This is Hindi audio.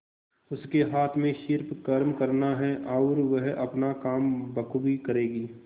उसके हाथ में सिर्फ कर्म करना है और वह अपना काम बखूबी करेगी